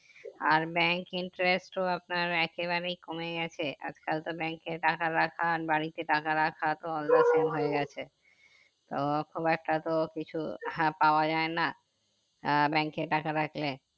আর bank interest তো আপনার একেবারেই কমে গেছে আজ কাল তো bank এ টাকা রাখা আর বাড়িতে টাকা রাখা তো অন্য scene হয়ে গেছে তো খুব একটা তো কিছু হ্যাঁ পাওয়া যাই না আহ bank এ টাকা রাখলে